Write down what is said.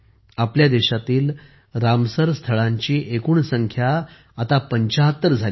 आपल्या देशातील रामसर स्थळांची एकूण संख्या आता 75 झाली आहे